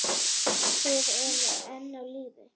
Þið eruð enn á lífi!